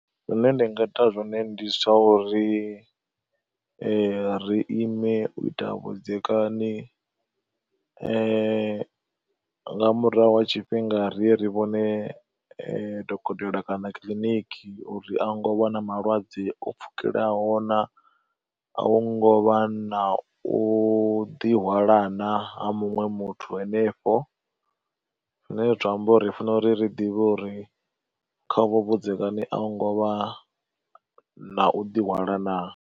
Zwine nda nga ita zwone ndi zwa uri ri ri ime u ita vhudzekani, nga murahu ha tshifhinga riye ri vhone dokotela kana kiḽiniki uri hu ngo vha na malwadze o pfhukelaho na, a hu ngo vha na u ḓihwalana ha muṅwe muthu henefho. Zwine zwa amba uri funela uri ri ḓivhe uri kha uvho vhudzekani a hu ngo vha na u ḓihwala na.